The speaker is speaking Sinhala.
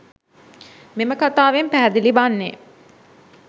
මෙම කතාවෙන් පැහැදිලි වන්නේ